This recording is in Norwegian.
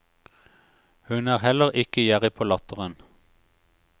Hun er heller ikke gjerrig på latteren.